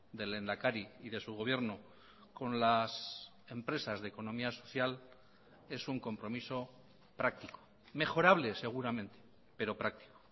del lehendakari y de su gobierno con las empresas de economía social es un compromiso práctico mejorable seguramente pero práctico